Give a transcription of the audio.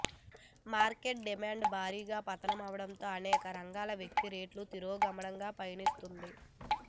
market demand భారీగా పతనమవడంతో అనేక రంగాల వృద్ధి రేటు తిరోగమనంలో పయనిస్తోంది